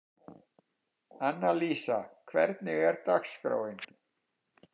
Annalísa, hvernig er dagskráin?